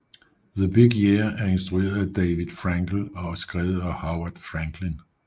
The Big Year er instrueret af David Frankel og skrevet af Howard Franklin